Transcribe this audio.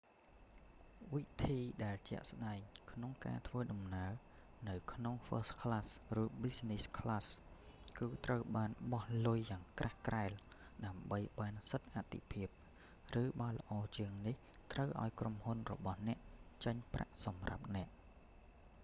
វិធីដែលជាក់ស្ដែងក្នុងការធ្វើដំណើរនៅក្នុង first class ឬ business class គឺត្រូវបោះលុយយ៉ាងក្រាស់ក្រែលដើម្បីបានសិទ្ធិអាទិភាព ឬបើល្អជាងនេះ ត្រូវឲ្យក្រុមហ៊ុនរបស់អ្នក ចេញប្រាក់សម្រាប់អ្នក